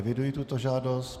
Eviduji tuto žádost.